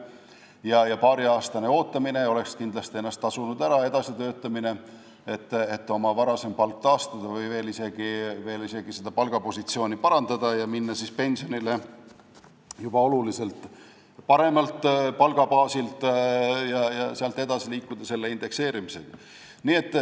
Paariaastane ootamine ja edasitöötamine oleks kindlasti ennast ära tasunud, selleks et oma varasem palk taastada või palgapositsiooni isegi veel parandada ning minna pensionile juba oluliselt paremalt palgabaasilt ja sealt edasi liikuda indekseerimise juurde.